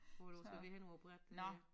Når du skal vi henover æ bræt øh